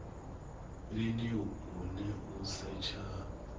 lini hune u setsha ha